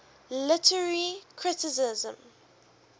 literary criticism